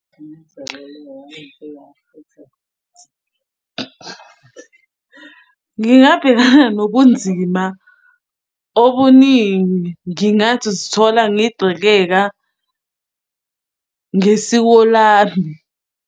Ngingabhekana nobunzima obuningi, ngingathi zithola ngigxekeka ngesiko lami.